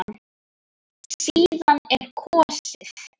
Síðan er kosið.